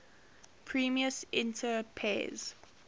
primus inter pares